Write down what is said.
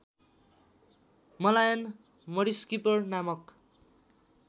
Malayan mudskipper नामक